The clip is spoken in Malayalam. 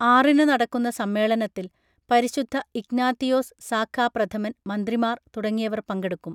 ആറിന് നടക്കുന്ന സമ്മേളനത്തിൽ പരിശുദ്ധ ഇഗ്നാത്തിയോസ് സാഖാ പ്രഥമൻ മന്ത്രിമാർ തുടങ്ങിയവർ പങ്കെടുക്കും